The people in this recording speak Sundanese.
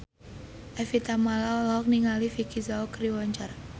Evie Tamala olohok ningali Vicki Zao keur diwawancara